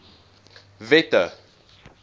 wette